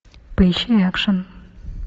поищи экшен